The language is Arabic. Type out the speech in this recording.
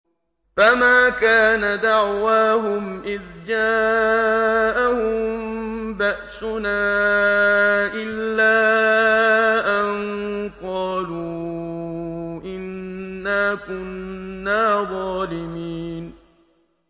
فَمَا كَانَ دَعْوَاهُمْ إِذْ جَاءَهُم بَأْسُنَا إِلَّا أَن قَالُوا إِنَّا كُنَّا ظَالِمِينَ